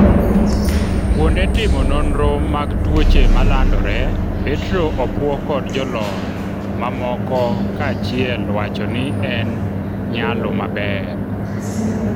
kuonde timo nonro mag tuoche malandore Petro opwo kod jolony mamoko ka achiel wacho ni en nyalo maber